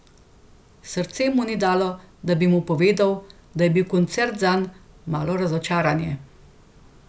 Srce mu ni dalo, da bi mu povedal, da je bil koncert zanj malo razočaranje.